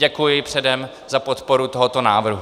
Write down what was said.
Děkuji předem za podporu tohoto návrhu.